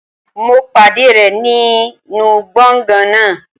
Mo pàdé rẹ̀ nínú gbọ̀ngàn náà.